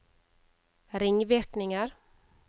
ringvirkninger